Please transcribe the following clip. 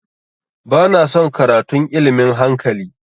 Ba na son karatun ilmin hankali